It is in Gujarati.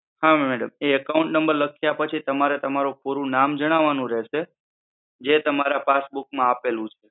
હા madam, એ account number લખ્યા પછી તમારે તમારું પૂરું નામ જણાવવાનું રહેશે જે તમારા passbook માં આપેલું છે.